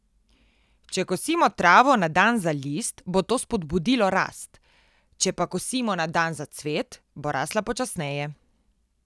Če kosimo travo na dan za list, bo to spodbudilo rast, če pa kosimo na dan za cvet, bo rasla počasneje.